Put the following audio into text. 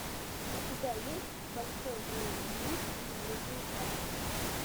у тебя есть большой злой лис и другие сказки